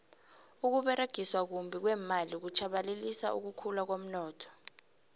ukuberegiswa kumbi kweemali kutjhabalalisa ukukhula komnotho